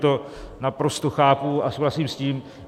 To naprosto chápu a souhlasím s tím.